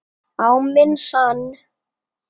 Á minn sann.!